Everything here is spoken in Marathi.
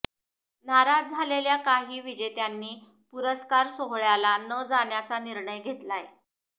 नाराज झालेल्या काही विजेत्यांनी पुरस्कार सोहळ्याला न जाण्याचा निर्णय घेतलाय